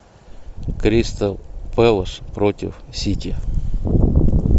кристал пэлас против сити